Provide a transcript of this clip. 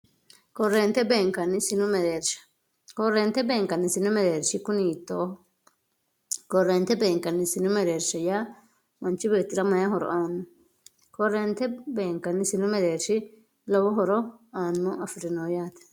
koreente beenkanni sinu mereersha koreente beenkanni sinu mereershi kuni hiitooho koreente beenkanni sinu mereershi yaa manchi beetira mayee horo aanno koreente beenkanni sinu mereershi lowo horo aanno afirino yaate